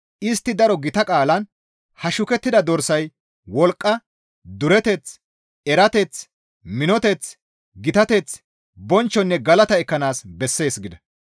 Istti daro gita qaalan, «Ha shukettida dorsay wolqqa, dureteth, erateth, minoteth, gitateth, bonchchonne galata ekkanaas bessees» gida.